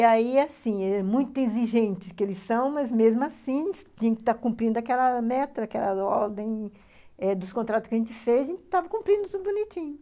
E aí, assim, é muito exigente que eles são, mas mesmo assim, a gente está cumprindo aquela meta, aquela ordem eh dos contratos que a gente fez, a gente estava cumprindo tudo bonitinho.